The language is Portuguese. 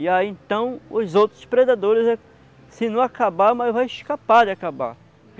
E aí então os outros predadores, se não acabar, mas vai escapar de acabar.